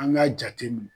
An k'a jate minɛ